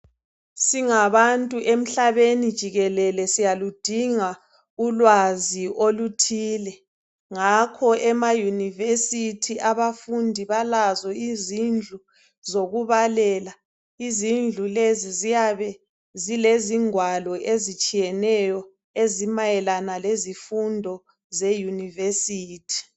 Singabantu emhlabeni jikelele siyaludinga ulwazi oluthile ngakho emayunivesithi abafundi balazo izindlu zokubalela izindlu lezi ziyabe Zilezingwalo ezitshiyeneyo ezimayelana lezifundo zeyunivesithi